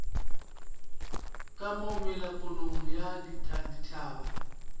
ka mo melapong ya dithaba